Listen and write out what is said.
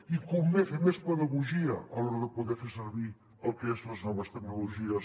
i convé fer més pedagogia a l’hora de poder fer servir el que són les noves tecnologies